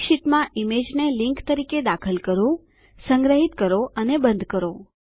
Calc શીટમાં ઈમેજને link તરીકે દાખલ કરો સંગ્રહીત કરો અને બંધ કરો